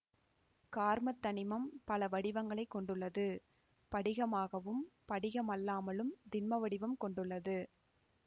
கார்மத் தனிமம் பல வடிவங்களை கொண்டுள்ளது படிகமாகவும் படிகமல்லாமலும் திண்ம வடிவம் கொண்டுள்ளது